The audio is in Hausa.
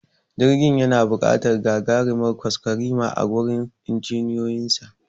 Jirgin yana buƙatar gagarimar kwaskwarima a gurin injiniyoyinsa